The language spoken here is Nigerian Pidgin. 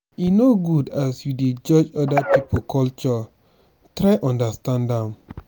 e no good as you dey judge oda pipo culture try understand dem.